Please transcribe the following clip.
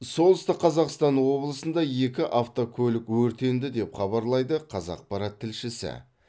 солтүстік қазақстан облысында екі автокөлік өртенді деп хабарлайды қазақпарат тілшісі